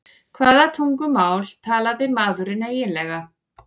Hvaða tungumál talaði maðurinn eiginlega?